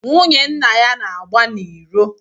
Nwunye nna ya na-agba n’iro